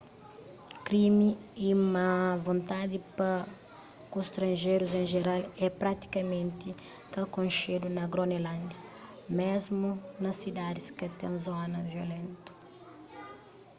krimi y má vontadi pa ku stranjerus en jeral é pratikamenti ka konxedu na gronelândia mésmu na sidadis ka ten zonas violentu